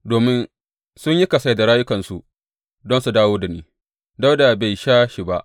Domin sun yi kasai da rayukansu don su dawo da shi, Dawuda bai sha shi ba.